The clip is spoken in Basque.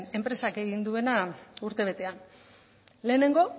enpresak egin duena urtebetean lehenengo